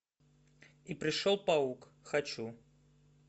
и пришел паук хочу